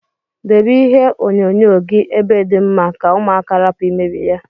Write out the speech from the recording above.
Debe ihe onyo nyo gi ebe di mma ka ụmụaka rapu imebi ya.